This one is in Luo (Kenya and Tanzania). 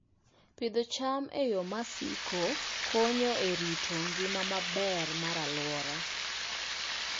Pidho cham e yo masiko konyo e rito ngima maber mar alwora.